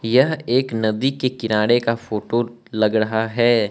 यह एक नदी के किनारे का फोटो लग रहा है।